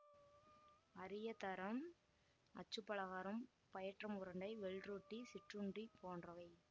அரியதரம் அச்சுப்பலகாரம் பயற்றம் உருண்டை வெள்ரொட்டி சிற்றுண்டி போன்றவை